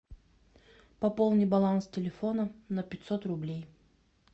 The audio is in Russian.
пополни баланс телефона на пятьсот рублей